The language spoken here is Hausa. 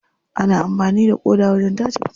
Ana amfani da ƙoda wajen tace fitsari.